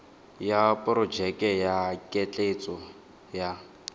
ya porojeke ya ketleetso ya